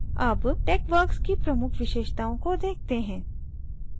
अब texworks की प्रमुख़ विशेषताओं को देखते हैं